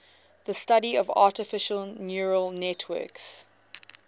the study of artificial neural networks